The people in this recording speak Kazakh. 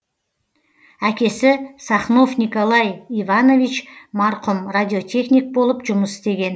әкесі сахнов николай иванович марқұм радиотехник болып жұмыс істеген